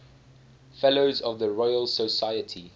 fellows of the royal society